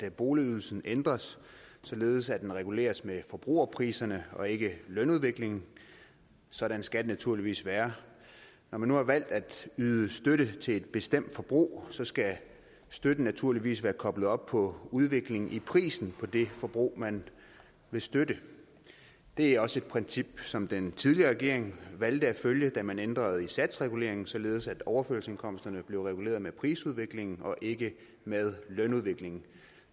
at boligydelsen ændres således at den reguleres med forbrugerpriserne og ikke lønudviklingen sådan skal det naturligvis være når man nu har valgt at yde støtte til et bestemt forbrug så skal støtten naturligvis være koblet op på udviklingen i prisen på det forbrug man vil støtte det er også et princip som den tidligere regering valgte at følge da man ændrede i satsreguleringen således at overførselsindkomsterne blev reguleret med prisudviklingen og ikke med lønudviklingen